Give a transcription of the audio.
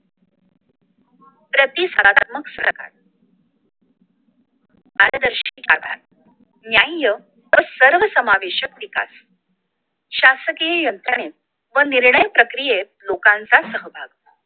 प्रतिसादात्मक सरकार पारदर्शी सरकार न्याय व सर्वसमावेशक विकास शासकीय यंत्रणेत व निर्णय प्रक्रियेत लोकांचा सहभाग